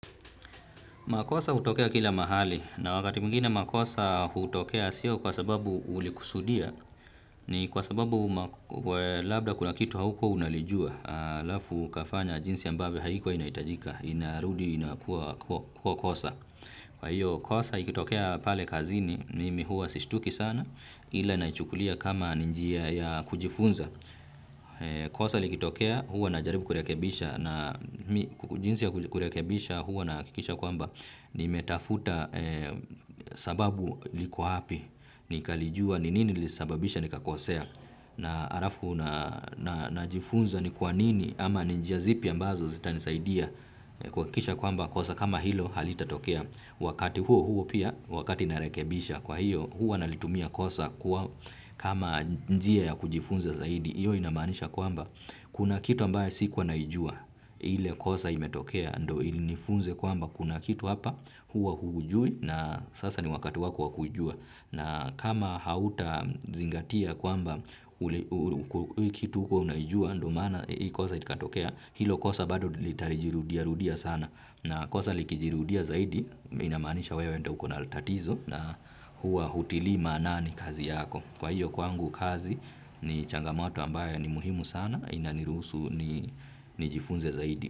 Makosa hutokea kila mahali, na wakati mwingine makosa hutokea siyo kwa sababu ulikusudia, ni kwa sababu labda kuna kitu haukua unalijua, alafu kafanya jinsi ambavyo haikuwa inaitajika, inarudi inakua kosa. Kwa hiyo kosa ikitokea pale kazini mimi hua sistuki sana ila naichukulia kama ninjia ya kujifunza. Kosa likitokea hua na jaribu kurekebisha na kukujinsi ya kurekebisha hua na kikisha kwamba ni metafuta sababu likuwa api ni kalijua ni nini lisababisha ni kakosea. Na halafu na jifunza ni kwa nini ama njia zipi ambazo zita nisaidia kuhakikisha kwamba kosa kama hilo halita tokea wakati huo huo pia wakati narekebisha kwa hiyo huwa nalitumia kosa kwa kama njia ya kujifunza zaidi. Iyo inamanisha kwamba kuna kitu ambaye siku wanaijua ile kosa imetokea ndo ili inifunze kwamba kuna kitu hapa huwa hujui na sasa ni wakati wako wakujua na kama hauta zingatia kwamba hii kitu hua unajua ndo mana hii kosa itikatokea hilo kosa bado litarijirudia rudia sana na kosa likijirudia zaidi inamanisha wewe ndo uko na tatatizo na huwa hutili manani kazi yako. Kwa hiyo kwangu kazi ni changamoto ambayo ni muhimu sana ina nirusu ni jifunze zaidi.